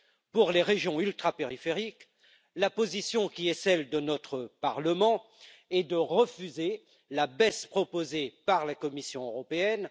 Pour les régions ultrapériphériques, la position, qui est celle de notre Parlement, est de refuser la baisse proposée par la Commission européenne.